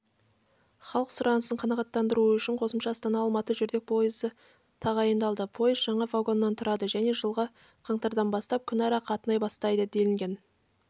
халық сұранысын қанағаттандыру үшін қосымша астана-алматы жүрдек поезы тағайындалды поезд жаңа вагоннан тұрады және жылғы қаңтардан бастап күнара қатынай бастайды делінген